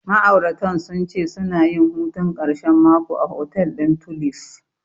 Ma'auratan sun ce suna yin hutun ƙarshen mako a hotel ɗin Tulif.